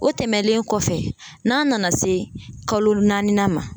O tɛmɛlen kɔfɛ n'a nana se kalo naani na ma